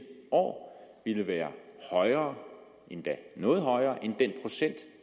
år vil være højere endda noget højere end